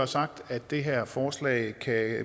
sagt at det her forslag